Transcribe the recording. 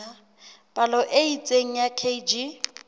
palo e itseng ya kg